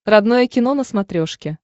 родное кино на смотрешке